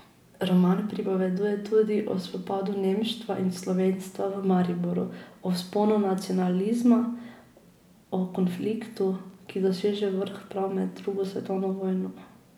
Roman pripoveduje tudi o spopadu nemštva in slovenstva v Mariboru, o vzponu nacionalizma, o konfliktu, ki doseže vrh prav med drugo svetovno vojno.